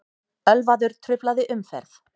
Ölvaður truflaði umferð